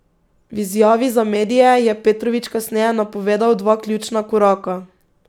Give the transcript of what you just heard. V izjavi za medije je Petrovič kasneje napovedal dva ključna koraka.